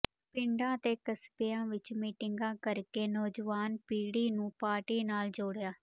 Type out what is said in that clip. ਪਿੰਡਾਂ ਤੇ ਕਸਬਿਆਂ ਵਿਚ ਮੀਟਿੰਗਾਂ ਕਰਕੇ ਨੌਜਵਾਨ ਪੀੜੀ ਨੂੰ ਪਾਰਟੀ ਨਾਲ ਜੋੜਿਆ